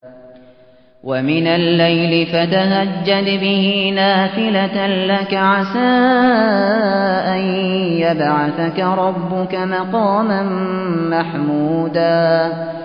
وَمِنَ اللَّيْلِ فَتَهَجَّدْ بِهِ نَافِلَةً لَّكَ عَسَىٰ أَن يَبْعَثَكَ رَبُّكَ مَقَامًا مَّحْمُودًا